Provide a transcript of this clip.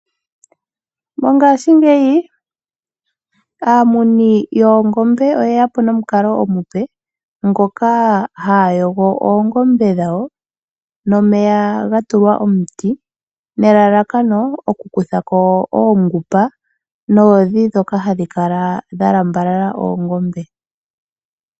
Mongashingeyi aamuni yoongombe oyeyapo nomukalo omupe ngoka haya yogo oongombe dhawo nomeya gatulwa omuti nelalakano oku kuthako oongupa noodhi dhoka hadhi kala dha lambalala oongombe